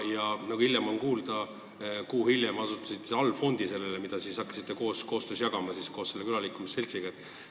Ja nagu kuulda oli, asutasite kuu hiljem allfondi, mida hakkasite selle külaliikumise seltsiga jagama.